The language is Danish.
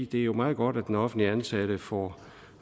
det er meget godt at den offentligt ansatte får